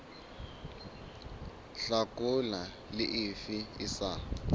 hlakola le efe e sa